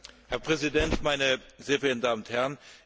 Herr Präsident, meine sehr verehrten Damen und Herren!